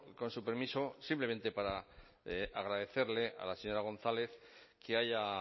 con su permiso simplemente para agradecerle a la señora gonzález que haya